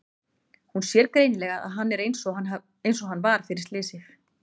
Hún sér greinilega að hann er einsog hann var fyrir slysið.